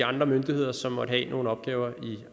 andre myndigheder som måtte have nogle opgaver i